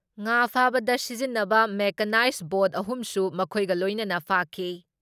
ꯉꯥ ꯐꯥꯕꯗ ꯁꯤꯖꯤꯟꯟꯕ ꯃꯦꯀꯥꯅꯥꯏꯖ ꯕꯣꯠ ꯑꯍꯨꯝꯁꯨ ꯃꯈꯣꯏꯒ ꯂꯣꯏꯅꯅ ꯐꯥꯈꯤ ꯫